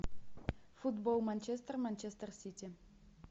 футбол манчестер манчестер сити